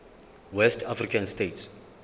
west african states